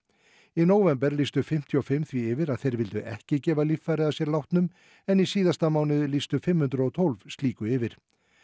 í nóvember lýstu fimmtíu og fimm því yfir að þeir vildu ekki gefa líffæri að sér látnum en í síðasta mánuði lýstu fimm hundruð og tólf slíku yfir